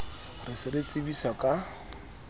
re se re tsebiswa ka